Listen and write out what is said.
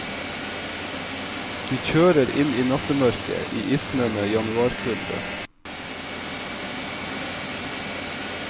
De kjører inn i nattemørket i isnende januarkulde.